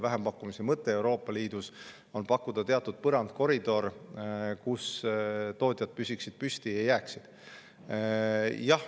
Vähempakkumise mõte Euroopa Liidus on teatud koridor, kus tootjad püsiksid püsti.